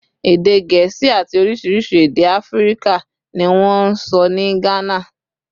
Èdè Gẹ̀ẹ́sì àti oríṣiríṣi èdè Áfíríkà ni wọ́n ń sọ ní Gánà